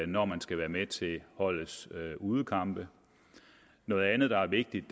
når man skal være med til holdets udekampe noget andet der er vigtigt